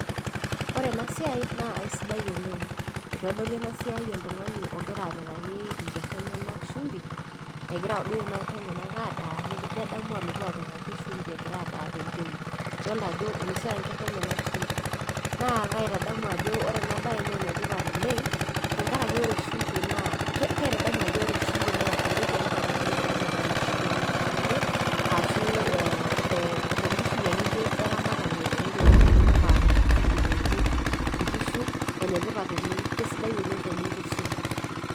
Ore ena siai naa aisidai oleng itodolu ena siai oltung'ani ogira apikaki inkerra enyenak shumbi egira duo kuna kerra enyenak adaa nedamu alotu apikaki shumbi egira adaa tempeut idolta ajo inosita inkerra enyenak shumbi naa kaitadamu ajo ore enabaye naa enetipat oleng tenkarake ore shumbi naa kaitadamu ajo ore shumbi naa entoki etipat oleng tenkishui akeyie eramatare ontokiting inonok aa nkerra onkerra nkinejik nkishu enetipat oleng kisidai oleng tenincho shumbi.